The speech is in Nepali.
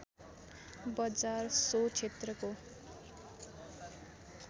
बजार सो क्षेत्रको